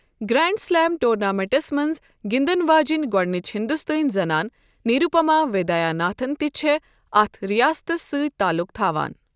Grand slam ٹورنامنٹَس منٛز گِنٛدَن واجیٚنۍ گۄڈٕنِچ ہندوستٲنۍ زنانہِ نروُپما ویدیا ناتھن تہِ چھےٚ اتھ رِیاستس سۭتۍ تعلق تھاوان ۔